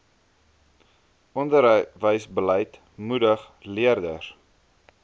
onderwysbeleid moedig leerders